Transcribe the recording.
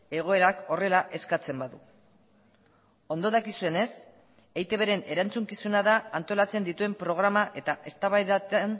egoerak horrela eskatzen badu ondo dakizuenez eitbren erantzukizuna da antolatzen dituen programa eta eztabaidatan